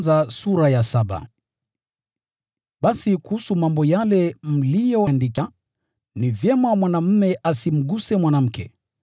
Basi kuhusu mambo yale mliyoyaandika: Ni vyema mwanaume asimguse mwanamke.